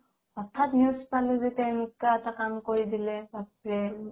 হঠাৎ news পালো যে তেওঁ এনেকুৱা এটা কাম কৰি দিলে বাপৰে